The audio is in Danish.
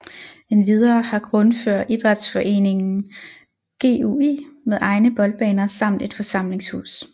Endvidere har Grundfør idrætsforeningen GUI med egne boldbaner samt et forsamlingshus